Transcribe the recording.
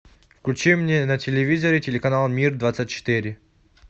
включи мне на телевизоре телеканал мир двадцать четыре